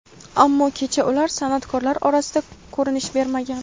ammo kecha ular san’atkorlar orasida ko‘rinish bermagan.